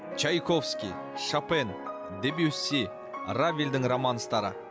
чайковский шопен дебюсси равельдердің романстары